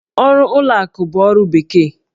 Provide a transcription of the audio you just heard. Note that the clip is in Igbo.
Ọrụ ụlọ akụ bụ ọrụ bekee.